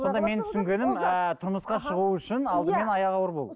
сонда менің түсінгенім ыыы тұрмысқа шығу үшін алдымен аяғы ауыр болу